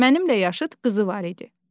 Mənimlə yaşıt qızı var idi.